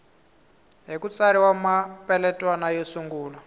ku tsariwa mapeletwana yo sungula